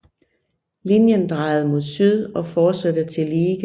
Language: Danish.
Linjen drejede mod syd og fortsatte til Liege